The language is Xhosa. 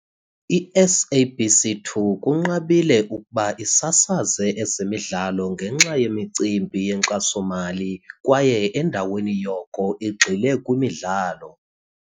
I-SABC 2 kunqabile ukuba isasaze ezemidlalo ngenxa yemicimbi yenkxaso-mali, kwaye endaweni yoko igxile kwimidlalo.